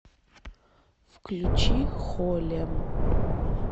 включи холем